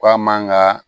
Ko a man ka